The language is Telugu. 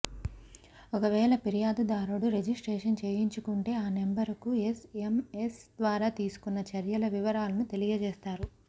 ఒకవేళ ఫిర్యాదుదారుడు రిజిస్ట్రేషన్ చేయించుకుంటే ఆ నెంబరుకు ఎస్ఎంఎస్ ద్వారా తీసుకున్న చర్యల వివరాలను తెలియచేస్తారు